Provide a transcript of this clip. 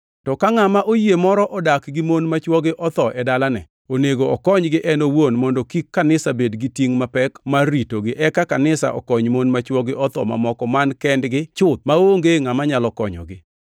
To ka ngʼama oyie moro odak gi mon ma chwogi otho e dalane, onego okonygi en owuon mondo kik kanisa bed gi tingʼ mapek mar ritogi, eka kanisa okony mon ma chwogi otho mamoko man kendgi chuth maonge ngʼama nyalo konyogi.